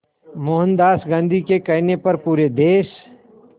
मोहनदास गांधी के कहने पर पूरे देश